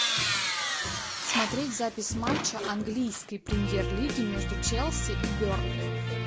смотреть запись матча английской премьер лиги между челси и бернли